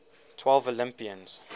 twelve olympians